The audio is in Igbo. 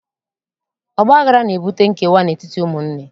Ọgbaghara na-ebute nkewa n'etiti ụmụnne.